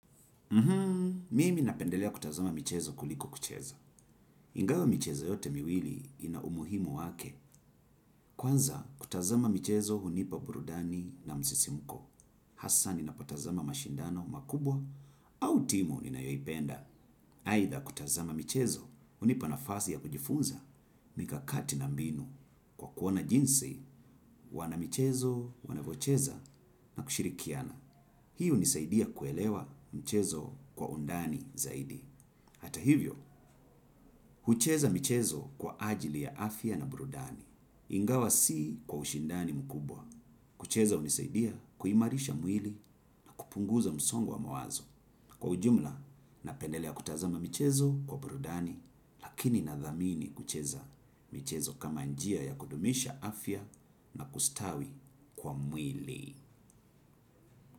Mimi napendelea kutazama michezo kuliko kucheza. Ingawa michezo yote miwili ina umuhimu wake. Kwanza kutazama michezo hunipa burudani na msisimuko. Hasa ninapotazama mashindano makubwa au timu ninayoipenda. Aidha kutazama michezo hunipa nafasi ya kujifunza mikakati na mbinu. Kwa kuona jinsi, wana michezo, wana vocheza na kushirikiana. Hi hunisaidia kuelewa mchezo kwa undani zaidi. Hata hivyo, hucheza michezo kwa ajili ya afya na burudani. Ingawa si kwa ushindani mkubwa. Kucheza hunisaidia kuhimarisha mwili na kupunguza msongo wa mawazo. Kwa ujumla, napendelea kutazama michezo kwa brudani, lakini nadhamini kucheza michezo kama njia ya kudumisha afya na kustawi kwa mwili.